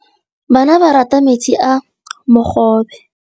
Bana ba rata metsi a mogobe.